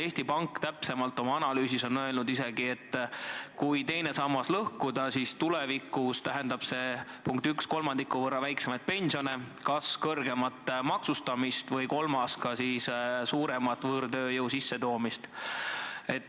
Eesti Pank on oma analüüsis isegi öelnud, et kui teine sammas lõhkuda, siis tulevikus tähendab see punkt 1, kolmandiku võrra väiksemaid pensione, punkt 2, kõrgemat maksustamist, või punkt 3, enamat võõrtööjõu sissetoomist.